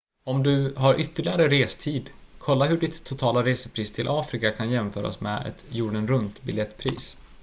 om du har ytterligare restid kolla hur ditt totala resepris till afrika kan jämföras med ett jorden-runt biljettpris